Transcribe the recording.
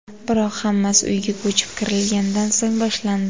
Biroq... Hammasi uyga ko‘chib kirilgandan so‘ng boshlandi.